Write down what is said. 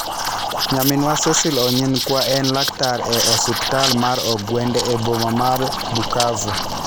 Nyaminwa Cecil Onyinkwa en laktar e osiptal mar ogwende e boma mar Bukavu.